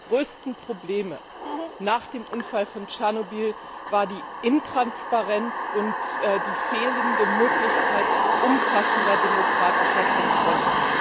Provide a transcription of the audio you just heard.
Eines der größten Probleme nach dem Unfall von Tschernobyl waren die Intransparenz und die fehlende Möglichkeit zu umfassender demokratischer Kontrolle.